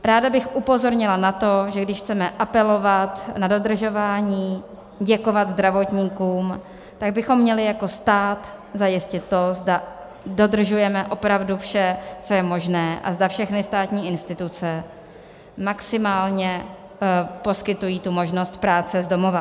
Ráda bych upozornila na to, že když chceme apelovat na dodržování, děkovat zdravotníkům, tak bychom měli jako stát zajistit to, zda dodržujeme opravdu vše, co je možné, a zda všechny státní instituce maximálně poskytují tu možnost práce z domova.